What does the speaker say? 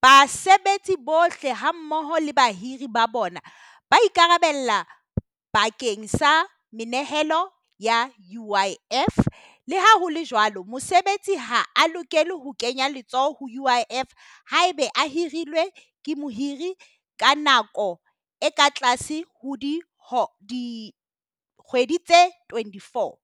Basebetsi bohle, ha mmoho le bahiri ba bona ba ikarabella bakeng sa menehelo ya UIF. Le ha ho le jwalo, mosebetsi ha a lokela ho kenya letsoho ho UIF ha ebe a hirilwe ke mohiri ka nako e ka tlase ho dikgwedi tse twenty four.